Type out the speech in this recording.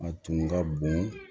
A tun ka bon